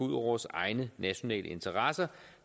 vores egne nationale interesser